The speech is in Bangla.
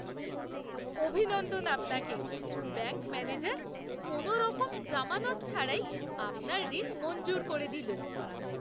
অভিনন্দন আপনাকে! ব্যাঙ্ক ম্যানেজার কোনোরকম জামানত ছাড়াই আপনার ঋণ মঞ্জুর করে দিল!